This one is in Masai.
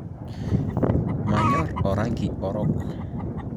Manyoorr orangi orok